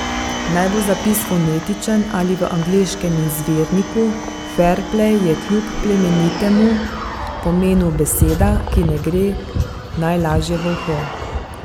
Naj bo zapis fonetičen ali v angleškem izvirniku, ferplej je kljub plemenitemu pomenu beseda, ki ne gre najlažje v uho.